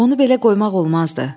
Onu belə qoymaq olmazdı.